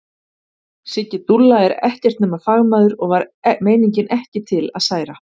Siggi dúlla er ekkert nema fagmaður og var meiningin ekki til að særa.